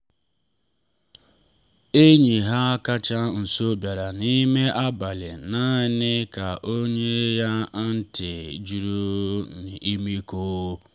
enyi ha kacha nso bịara n’ime abalị naanị ka o nye ya ntị juru n’ọmịiko.